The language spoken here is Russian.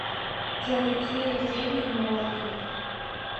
джой какие деньги в марокко